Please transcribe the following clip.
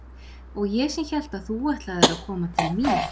Og ég sem hélt að þú ætlaðir að koma til mín.